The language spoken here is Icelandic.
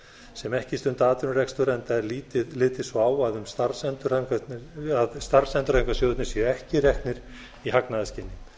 sem ekki stunda atvinnurekstur enda er litið svo á að starfsendurhæfingarsjóðir séu ekki reknir í hagnaðarskyni